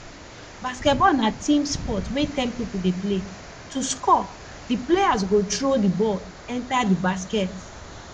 basketball na team sport wey ten pipo dey play to score di players go throw di ball enter di basket